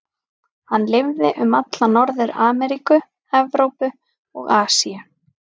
Hann lifði um alla Norður-Ameríku, Evrópu og Asíu.